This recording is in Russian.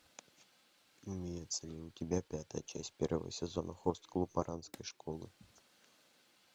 имеется ли у тебя пятая часть первого сезона хост клуб оранской школы